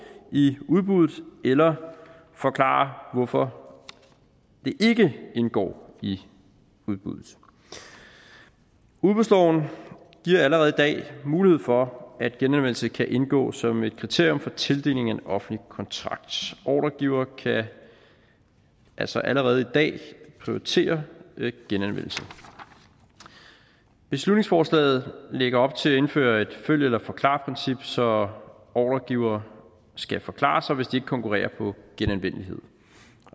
i udbuddet eller forklare hvorfor det ikke indgår i udbuddet udbudsloven giver allerede i dag mulighed for at genanvendelse kan indgå som et kriterium for tildeling af en offentlig kontrakt ordregiver kan altså allerede i dag prioritere genanvendelse beslutningsforslaget lægger op til at indføre et følg eller forklar princip så ordregiver skal forklare sig hvis de ikke konkurrerer på genanvendelighed